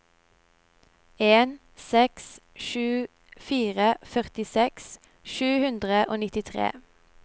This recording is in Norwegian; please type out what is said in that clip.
en seks sju fire førtiseks sju hundre og nittitre